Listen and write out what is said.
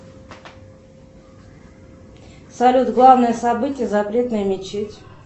салют главное событие запретная мечеть